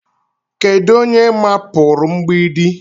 Kedu onye mapụrụ mgbidi?